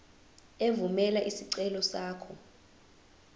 evumela isicelo sakho